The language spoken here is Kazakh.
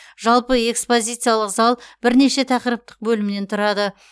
жалпы экспозициялық зал бірнеше тақырыптық бөлімнен тұрады